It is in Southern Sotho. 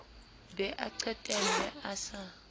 be a qetelle a sa